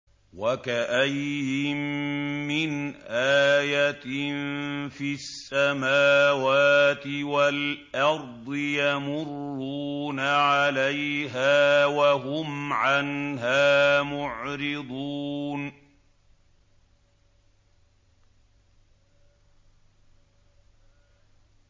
وَكَأَيِّن مِّنْ آيَةٍ فِي السَّمَاوَاتِ وَالْأَرْضِ يَمُرُّونَ عَلَيْهَا وَهُمْ عَنْهَا مُعْرِضُونَ